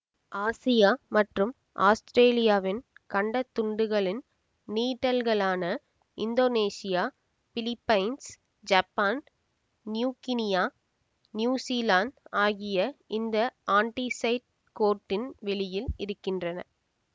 Asia மற்றும் ஆஸ்திரேலியாவின் கண்டத்துண்டுகளின் நீட்டல்களான Indonesia Philippines Japan New Guinea New Zealand ஆகியன இந்த ஆன்டிசைட் கோட்டின் வெளியில் இருக்கின்றன